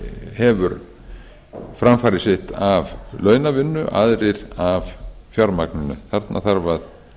hefur framfæri sitt af launavinnu aðrir af fjármagninu þarna þarf að